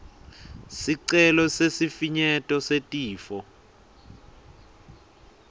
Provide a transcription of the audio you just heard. sicelo sesifinyeto setifo